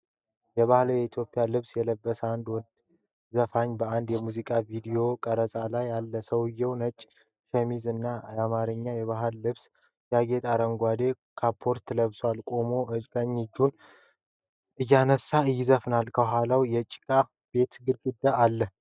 የባህላዊ የኢትዮጵያ ልብስ የለበሰ አንድ ወንድ ዘፋኝ በአንድ የሙዚቃ ቪዲዮ ቀረጻ ላይ አለ። ሰውዬው ነጭ ሸሚዝ እና በአማርኛ የባህል ምልክቶች ያጌጠ አረንጓዴ ካፖርት ለብሷል። ቆሞ እጆቹን እያንቀሳቀሰ ይዘፍናል፣ ከኋላው የጭቃ ቤት ግድግዳ አለ።